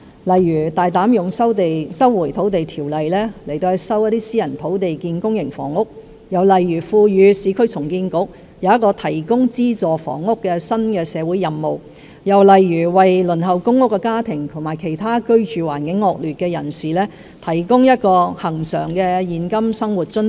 例如，我們會大膽引用《收回土地條例》收回一些私人土地以興建公營房屋，我們亦會賦予市區重建局一個提供資助房屋的新社會任務，我們也會為輪候公屋的家庭和居住環境惡劣的其他人士提供恆常現金生活津貼。